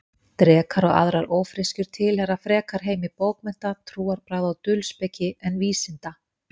Drekar og aðrar ófreskjur tilheyra frekar heimi bókmennta, trúarbragða og dulspeki en vísinda.